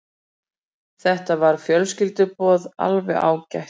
Þetta var fjölskylduboð, alveg ágætt.